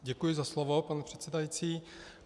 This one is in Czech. Děkuji za slovo, pane předsedající.